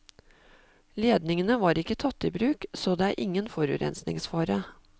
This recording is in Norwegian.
Ledningene var ikke tatt i bruk, så det er ingen forurensningsfare.